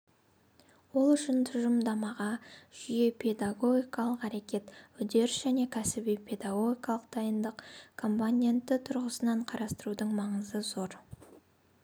ол үшін тұжырымдамаға жүйе педагогикалық әрекет үдеріс және кәсіби-педагогикалық дайындық компоненті тұрғысынан қарастырудың маңызы зор